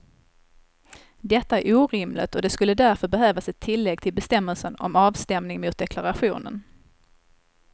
Detta är orimligt och det skulle därför behövas ett tillägg till bestämmelsen om avstämning mot deklarationen.